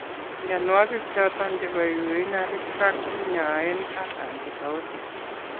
Mnyanuaigik choton chebo Urinary tract kinyae ak antibiotics